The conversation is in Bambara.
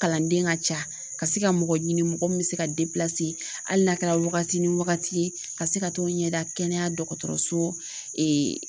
Kalanden ka ca ka se ka mɔgɔ ɲini mɔgɔ min bɛ se ka hali n'a kɛra wagati ni wagati ka se ka t'o ɲɛda kɛnɛya dɔgɔtɔrɔso